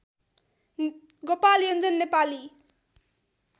Gopal Yonjan Nepali